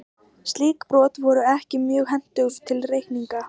Slík brot voru ekki mjög hentug til reikninga.